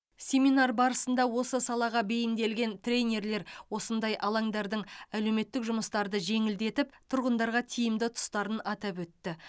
семинар барысында осы салаға бейімделген тренерлер осындай алаңдардың әлеуметтік жұмыстарды жеңілдетіп тұрғындарға тиімді тұстарын атап өтті